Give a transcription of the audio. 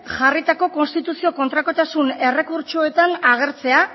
jarritako konstituzio kontrakotasun errekurtsoetan agertzea